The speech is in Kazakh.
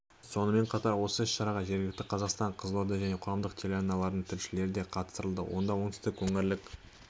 сонымен қатар осы іс-шараға жергілікті қазақстан қызылорда және қоғам телеарналарының тілшілері де қатыстырылды онда оңтүстік өңірлік